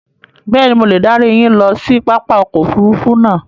Bẹ́ẹ̀ni, mo le darí yín ló si pápá ọkọ̀ òfurufú náà